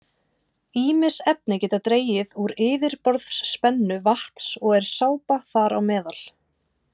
Ýmis efni geta dregið úr yfirborðsspennu vatns og er sápa þar á meðal.